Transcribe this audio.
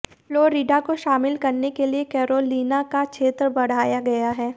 Florida को शामिल करने के लिए कैरोलिना का क्षेत्र बढ़ाया गया है